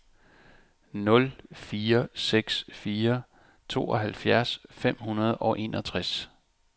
nul fire seks fire tooghalvfjerds fem hundrede og enogtres